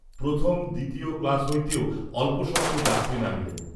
প্রথম দ্বিতীয় ক্লাশ কইতেও অল্পস্বল্প যাত্রী নামিলেন।